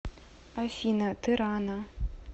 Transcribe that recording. афина ты рано